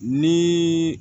Ni